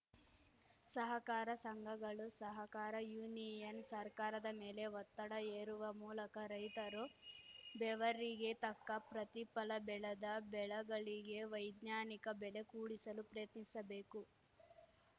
ಸಹಕಾರ ಸಂಘಗಳು ಸಹಕಾರ ಯೂನಿಯನ್‌ ಸರ್ಕಾರದ ಮೇಲೆ ಒತ್ತಡ ಹೇರುವ ಮೂಲಕ ರೈತರು ಬೆವರಿಗೆ ತಕ್ಕ ಪ್ರತಿಫಲ ಬೆಳೆದ ಬೆಳೆಗಳಿಗೆ ವೈಜ್ಞಾನಿಕ ಬೆಲೆ ಕೂಡಿಸಲು ಪ್ರಯತ್ನಿಸಬೇಕು